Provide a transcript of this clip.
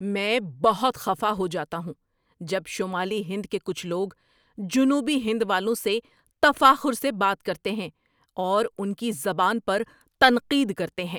میں بہت خفا ہو جاتا ہوں جب شمالی ہند کے کچھ لوگ جنوبی ہند والوں سے تفاخر سے بات کرتے ہیں اور ان کی زبان پر تنقید کرتے ہیں۔